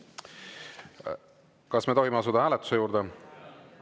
Kas me tohime asuda hääletuse juurde?